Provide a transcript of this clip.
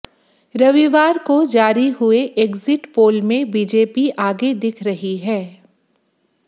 रविवार को जारी हुए एग्जिट पोल में बीजेपी आगे दिख रही है